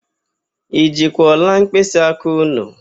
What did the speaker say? I jikwa ọla mkpịsịaka ụnụ?